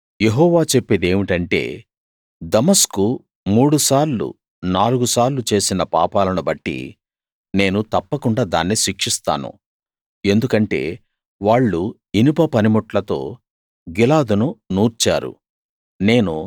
యెహోవా చెప్పేదేమిటంటే దమస్కు మూడు సార్లు నాలుగు సార్లు చేసిన పాపాలను బట్టి నేను తప్పకుండాా దాన్ని శిక్షిస్తాను ఎందుకంటే వాళ్ళు ఇనుప పనిముట్లతో గిలాదును నూర్చారు